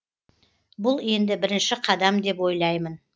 бұл енді бірінші қадам деп ойлаймын